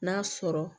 N'a sɔrɔ